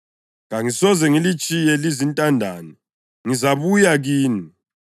Kangisoze ngilitshiye lizintandane, ngizabuya kini.